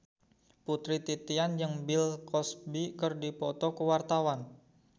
Putri Titian jeung Bill Cosby keur dipoto ku wartawan